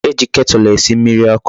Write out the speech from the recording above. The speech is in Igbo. E ji ketulu esi mmiri oku